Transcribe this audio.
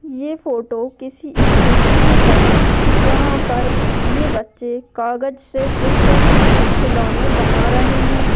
ये फोटो किसी स्कूल की है जहा पर ये बच्चे कागज से कुछ खिलौने बना रहे है।